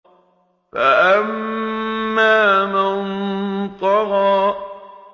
فَأَمَّا مَن طَغَىٰ